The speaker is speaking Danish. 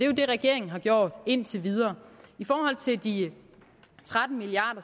jo det regeringen har gjort indtil videre i forhold til de tretten milliard